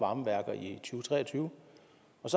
varme værker i to tre og tyve